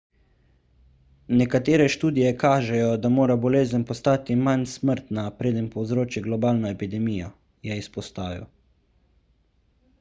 nekatere študije kažejo da mora bolezen postati manj smrtna preden povzroči globalno epidemijo je izpostavil